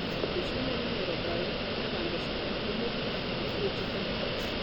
Eisume ninye aitobiraki neeta nkisumani kumok e chuo kikuu